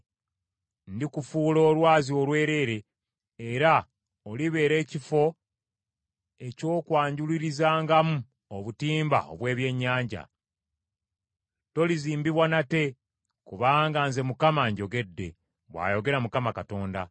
Ndikufuula olwazi olwereere, era olibeera ekifo eky’okwanjulurizangamu obutimba obw’ebyennyanja. Tolizimbibwa nate, kubanga nze Mukama njogedde, bw’ayogera Mukama Katonda.’